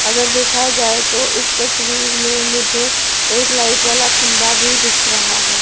अगर देखा जाए तो इस तस्वीर में मुझे एक लाइट वाला खंबा भी दिख रहा है।